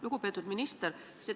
Lugupeetud minister!